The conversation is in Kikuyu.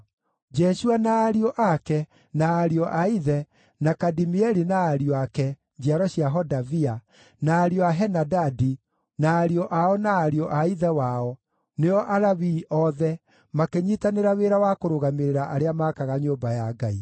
Jeshua na ariũ ake, na ariũ a ithe, na Kadimieli na ariũ ake (njiaro cia Hodavia), na ariũ a Henadadi na ariũ ao na ariũ a ithe wao, nĩo Alawii othe, makĩnyiitanĩra wĩra wa kũrũgamĩrĩra arĩa maakaga nyũmba ya Ngai.